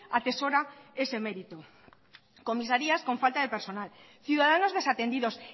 atesora ese merito comisarias con falta de personal ciudadanos desatendidos